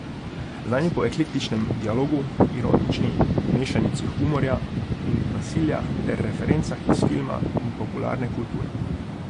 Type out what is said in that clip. Znan je po eklektičnem dialogu, ironični mešanici humorja in nasilja ter referencah iz filma in popularne kulture.